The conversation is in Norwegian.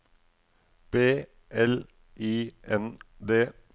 B L I N D